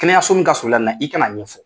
Kɛnɛyaso min ka surun i la na i ka n'a ɲɛfɔ.